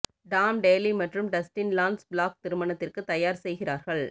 Tom Daley மற்றும் Dustin Lance Black திருமணத்திற்கு தயார் செய்கிறார்கள்